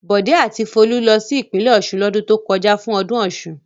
Bọ̀dé a ti Folú lọ sí ìpínlẹ̀ Ọ̀ṣun lọ́dún tó kọjá fún ọdún Ọ̀ṣun.